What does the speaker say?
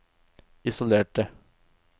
isolerte